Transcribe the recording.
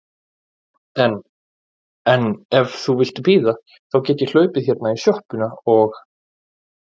En. en ef þú vilt bíða þá get ég hlaupið hérna í sjoppuna og.